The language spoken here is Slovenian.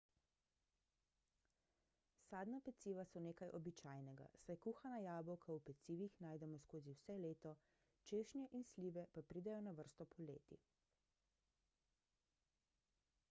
sadna peciva so nekaj običajnega saj kuhana jabolka v pecivih najdemo skozi vse leto češnje in slive pa pridejo na vrsto poleti